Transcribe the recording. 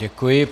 Děkuji.